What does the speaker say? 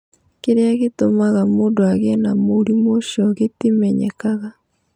Kĩrĩa gĩtũmaga mũndũ agĩe na mũrimũ ũcio gĩtimenyekaga.